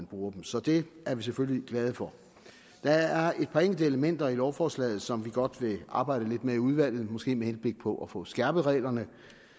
bruges så det er vi selvfølgelig glade for der er et par enkelte elementer i lovforslaget som vi godt vil arbejde lidt med i udvalget måske med henblik på at få skærpet reglerne